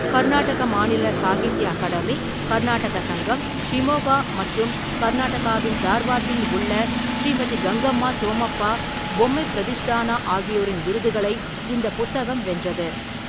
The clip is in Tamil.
கர்நாடக மாநில சாகித்ய அகாடமி, கர்நாடக சங்கம், ஷிமோகா மற்றும் கர்நாடகாவின் தார்வாட்டில் உள்ள ஸ்ரீமதி கங்கம்மா சோமப்பா பொம்மை பிரதிஷ்தானா ஆகியோரின் விருதுகளை இந்த புத்தகம் வென்றது.